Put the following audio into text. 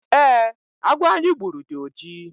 eeh, agwọ anyị gburu dị oji